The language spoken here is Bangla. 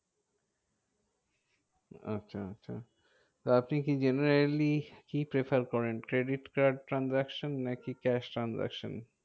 আচ্ছা আচ্ছা, তা আপনি কি generally কি prefer করেন? credit card transaction নাকি cash transaction?